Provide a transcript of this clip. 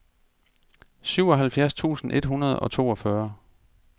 syvoghalvfjerds tusind et hundrede og toogfyrre